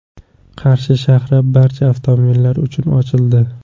Qarshi shahri barcha avtomobillar uchun ochildi.